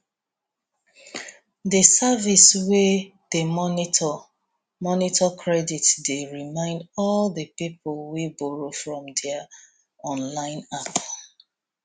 the service wey dey monitor monitor credit dey remind all the people wey borrow from their online app